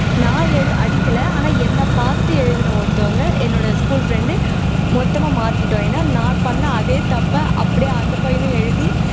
நான் எழு அடிக்கலை ஆனா என்னை பார்த்து எழுதின ஒருத்தவங்க என்னோட school friend மொத்தமா மாட்டிட்டோம் ஏன்னா நான் பண்ண அதே தப்பை அப்படியே அந்த பையனும் எழுதி